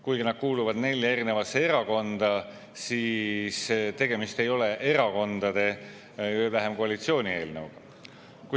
Kuigi nad kuuluvad nelja eri erakonda, ei ole tegemist erakondade, veel vähem koalitsiooni eelnõuga.